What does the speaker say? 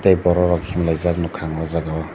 tei borok rok himlaijak ang nogka o jaga o.